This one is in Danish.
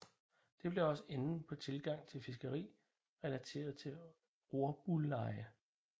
Det blev også enden på tilgang til fiskeri relateret til rorbuleje